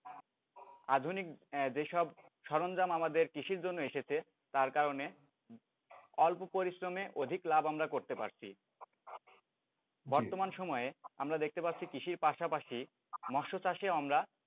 আধুনিক যেসব সরঞ্জাম আমাদের কৃষির জন্য এসেছে তার কারণে অল্প পরিশ্রমে অধিক লাভ আমরা করতে পারছি বর্তমান সময়ে আমরা দেখতে পাচ্ছি কৃষির পাশাপাশি মৎস্য চাষেও আমরা,